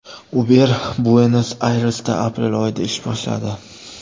Uber Buenos-Ayresda aprel oyida ish boshladi.